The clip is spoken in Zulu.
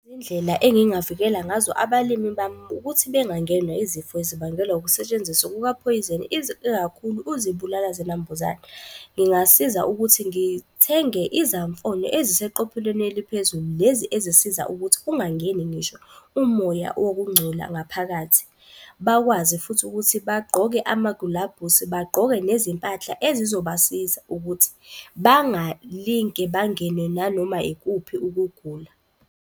Indlela engingavikela ngazo abalimi bami ukuthi bengangenwa izifo ezibangelwa ukusetshenziswa kuka phoyizeni. kakhulu kuzibulala zinambuzane. Ngingasiza ukuthi ngithenge izamfonyo eziseqophelweni eliphezulu. Lezi ezisiza ukuthi ungangeni, ngisho umoya owokungcola ngaphakathi. Bakwazi futhi ukuthi bagqoke amagulabhusi, bagqoke nezimpahla ezizobasiza ukuthi bangalinge bangene nanoma ikuphi ukugula.